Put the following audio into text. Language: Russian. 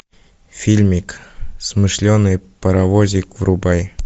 фильмик смышленый паровозик врубай